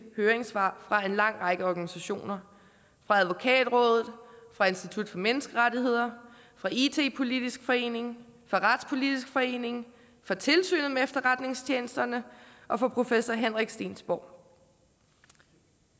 høringssvar fra en lang række organisationer fra advokatrådet fra institut for menneskerettigheder fra it politisk forening fra retspolitisk forening fra tilsynet med efterretningstjenesterne og fra professor henrik stevnsborg